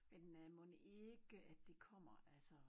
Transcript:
Men øh mon ikke det kommer altså